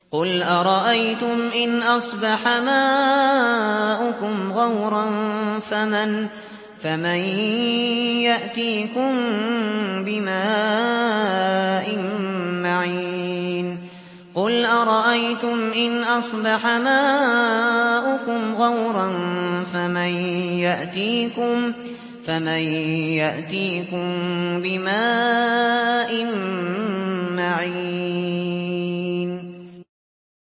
قُلْ أَرَأَيْتُمْ إِنْ أَصْبَحَ مَاؤُكُمْ غَوْرًا فَمَن يَأْتِيكُم بِمَاءٍ مَّعِينٍ